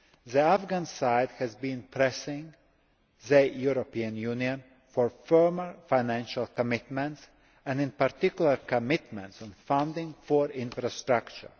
issues? The Afghan side has been pressing the European Union for firmer financial commitments, and, in particular, commitments on funding for infrastructure.